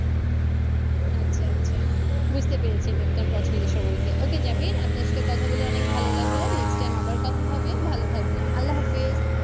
আচ্ছা আচ্ছা বুঝতে পেরেছি আমি আপনার পছন্দের সম্পর্কে ওকে জামিন আপনার সাথে কথা বলে বেশ ভালো লাগলো next time আবার কথা হবে ভালো থাকবেন আল্লা হাফিজ।